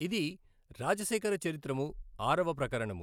ఇది రాజశేఖర చరిత్రము ఆరవ ప్రకరణము.